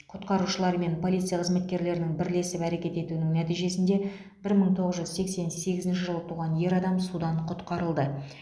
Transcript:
құтқарушылар мен полиция қызметкерлерінің бірлесіп әрекет етуінің нәтижесінде бір мың тоғыз жүз сексен сегізінші жылы туған ер адам судан құтқарылды